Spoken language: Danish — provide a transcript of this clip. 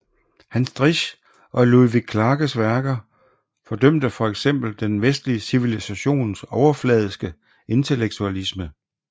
Hans Driesch og Ludwig Klages værker fordømte for eksempel den vestlige civilisations overfladiske intellektualisme